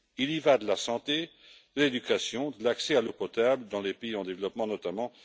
Il y va de la santé, de l'éducation, de l'accès à l'eau potable dans les pays en développement, notamment.